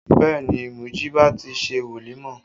Bẹẹ ni, Mujiba ti ṣe wolimọ